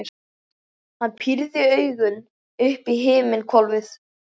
Hann pírði augun upp í himinhvolfið.